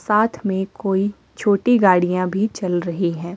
साथ में कोई छोटी गाड़ियां भी चल रही हैं।